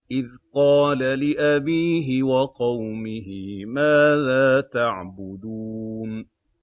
إِذْ قَالَ لِأَبِيهِ وَقَوْمِهِ مَاذَا تَعْبُدُونَ